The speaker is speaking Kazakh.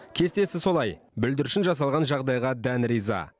кестесі солай бүлдіршін жасалған жағдайға дән риза